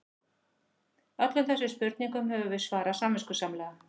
Öllum þessum spurningum höfum við svarað samviskusamlega.